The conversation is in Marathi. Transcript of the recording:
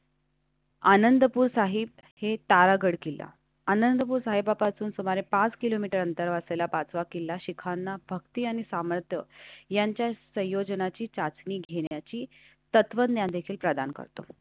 आनंदपुर साहिब हे तारागढ किल्ला अनंतपूर साहेबापासून सुमारे पाच किलोमीटर अंतर वाचायला पाचवा किल्ला शिखांना भक्ति आणि सामर्थ्य यांच्या संयोजनाची चाचणी घेण्याची तत्वज्ञान देखील प्रदान करतो आणि.